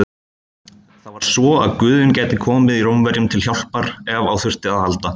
Það var svo að guðinn gæti komið Rómverjum til hjálpar ef á þurfti að halda.